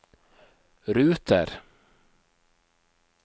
ruter